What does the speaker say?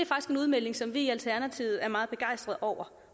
en udmelding som vi i alternativet er meget begejstrede over